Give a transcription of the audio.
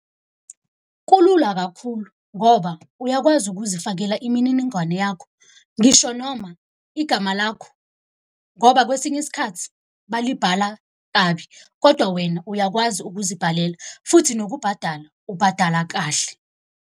Kulula kakhulu ngoba uyakwazi ukuzifakela imininingwane yakho, ngisho noma igama lakho. Ngoba kwesinye isikhathi balibhala kabi, kodwa wena uyakwazi ukuzibhalela futhi nokubhadala ubhadala kahle.